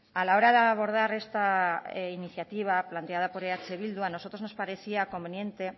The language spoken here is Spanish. a la hora de abordar esta iniciativa planteada por eh bildu a nosotros nos parecía conveniente